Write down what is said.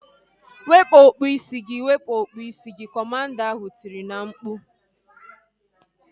Wepụ okpu isi gị! Wepụ okpu isi gị! Kọmanda ahu tiri na mkpu